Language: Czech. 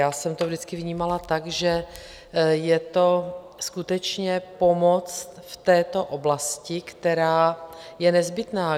Já jsem to vždycky vnímala tak, že je to skutečně pomoc v této oblasti, která je nezbytná.